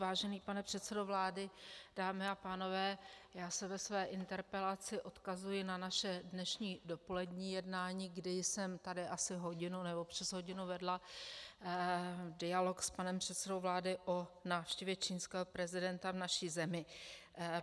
Vážený pane předsedo vlády, dámy a pánové, já se ve své interpelaci odkazuji na naše dnešní dopolední jednání, kdy jsem tady asi hodinu, nebo přes hodinu vedla dialog s panem předsedou vlády o návštěvě čínského prezidenta v naší zemi.